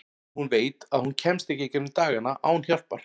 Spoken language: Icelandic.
Nema hún veit að hún kemst ekki í gegnum dagana án hjálpar.